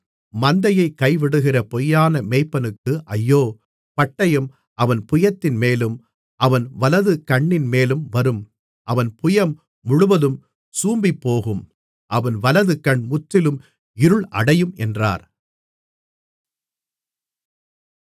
மந்தையைக் கைவிடுகிற பொய்யான மேய்ப்பனுக்கு ஐயோ பட்டயம் அவன் புயத்தின்மேலும் அவன் வலது கண்ணின்மேலும் வரும் அவன் புயம் முழுவதும் சூம்பிப்போகும் அவன் வலது கண் முற்றிலும் இருள் அடையும் என்றார்